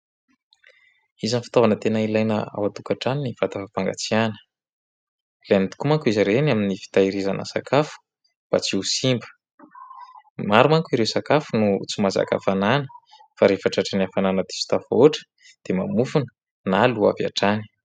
Isan'ny fitaovana tena ilaina ao an-tokantrano ny vata fampangatsiahana. Ilaina tokoa manko izy ireny amin'ny fitehirizana sakafo mba tsy ho simba. Maro manko ireo sakafo no tsy mahazaka hafanana. Fa rehefa tratran'ny hafanana diso tafahoatra dia mamofona na lò avy hatrany.